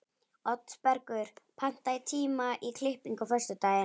Oddbergur, pantaðu tíma í klippingu á föstudaginn.